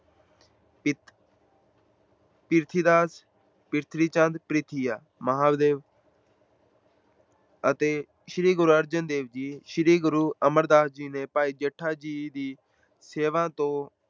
ਪ੍ਰਿਥੀਚੰਦ ਪਰਿਥੀਆ, ਮਹਾਂਦੇਵ ਅਤੇ ਸ੍ਰੀ ਗੁਰੂ ਅਰਜਨ ਦੇਵ, ਸ੍ਰੀ ਗੁਰੂ ਅਮਰਦਾਸ ਜੀ ਨੇ ਭਾਈ ਜੇਠਾ ਜੀ ਦੀ ਸੇਵਾ ਤੋਂ